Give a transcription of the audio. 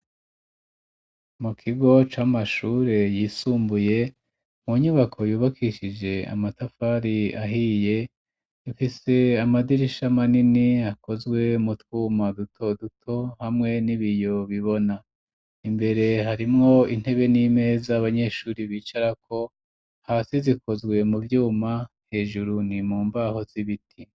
Mu kigo c'amashure yisumbuye, mu nyubako yubakishije amatafari ahiye ifise amadirisha manini akozwe mu twuma duto duto hamwe n'ibiyo bibona, imbere harimwo intebe n'imeza abanyeshuri bicarako hasi zikozwe mu vyuma hejuru ni mu mbaho z'ibiti.